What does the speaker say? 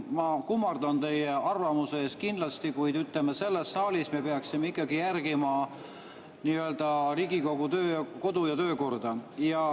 Ma kummardan kindlasti teie arvamuse ees, kuid, ütleme, selles saalis me peaksime ikkagi järgima nii-öelda Riigikogu kodu‑ ja töökorda.